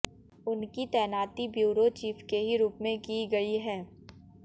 उनकी तैनाती bureau chief के ही रूप में की गई है